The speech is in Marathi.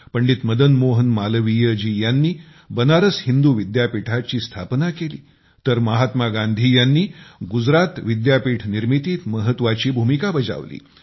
पंडित मदन मोहन मालवीय जी यांनी बनारस हिंदू विद्यापीठाची स्थापना केलीतर महात्मा गांधी यांनी गुजरात विद्यापीठ निर्मितीत महत्वाची भूमिका बजावली